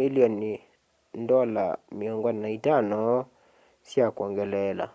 milioni 45 sya kwongeleela